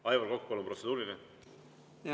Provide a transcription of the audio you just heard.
Aivar Kokk, palun, protseduuriline!